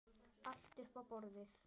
Allt upp á borðið?